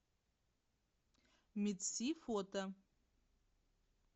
медси фото